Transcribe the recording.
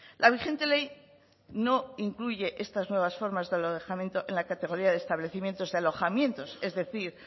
la vigente ley no incluye estas nuevas formas de alojamiento en la categoría de establecimientos de alojamientos es decir